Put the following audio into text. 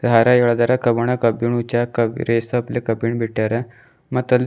ದಾರ ಎಲ್ದಾರ ಕಬಣ ಕಬ್ಬಿಣ ಕಬ್ಬಿಣ ಬಿಟ್ಟರ ಮತ್ ಅಲ್--